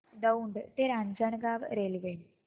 दौंड ते रांजणगाव रेल्वे